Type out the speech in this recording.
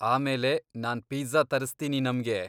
ಆಮೇಲೆ ನಾನ್ ಪಿಝ್ಝಾ ತರ್ಸ್ತೀನಿ ನಮ್ಗೆ.